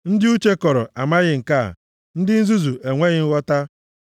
Ndị uche kọrọ amaghị nke a, ndị nzuzu enweghị nghọta,